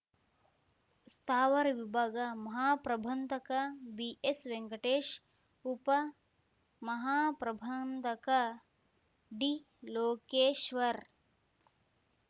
ಸ್ಥಾವರ ವಿಭಾಗ ಮಹಾಪ್ರಬಂಧಕ ಬಿಎಸ್‌ ವೆಂಕಟೇಶ್‌ ಉಪ ಮಹಾ ಪ್ರಬಂಧಕ ಡಿ ಲೋಕೇಶ್ವರ್‌